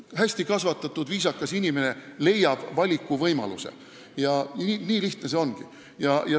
Hästi kasvatatud ja viisakal inimesel on valikuvõimalus – nii lihtne see ongi.